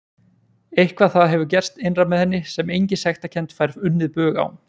Eitthvað það hefur gerst innra með henni sem engin sektarkennd fær unnið bug á.